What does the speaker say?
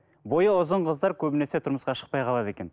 бойы ұзын қыздар көбінесе тұрмысқа шықпай қалады екен